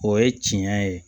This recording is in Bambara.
O ye tiɲɛ ye